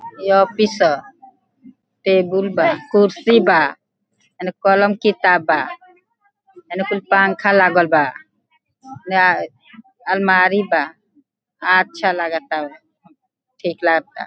इ ऑफिस ह टेबुल बा कुर्सी बा एने कलम किताब बा एने कुल पाँखा लागल बा एने अलमारी बा। अच्छा लागताव ठीक लागता।